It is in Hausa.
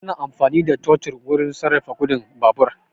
Ana amfani da totur wurin sarrafa gudun babur